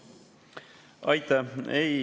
Aitäh!